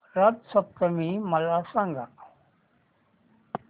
रथ सप्तमी मला सांग